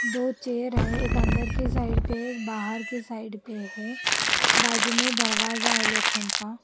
दो चेयर हैं एक अंदर के साइड पे है एक बाहर के साइड पे है बाजू में दरवाजा है लोखंड का।